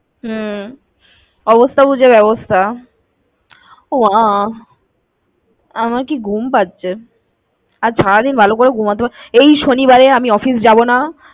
হম অবস্থা বুঝে ব্যবস্থা। ওমা, আমার কি ঘুম পাচ্ছে। আজ সারাদিন ভালো করে ঘুমোতে, এই শনিবারে আমি office যাবো না।